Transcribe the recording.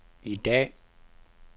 i dag